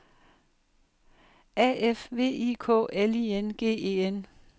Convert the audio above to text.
A F V I K L I N G E N